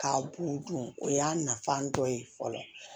K'a b'u dun o y'a nafan dɔ ye fɔlɔ